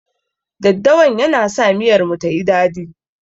Daddawan yana sa miyar mu tayi dadi.